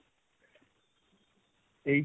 H